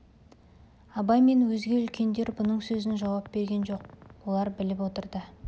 абай мен өзге үлкендер бұның сөзіне жауап берген жоқ олар біліп отыр